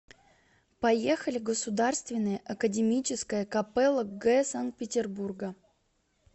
поехали государственная академическая капелла г санкт петербурга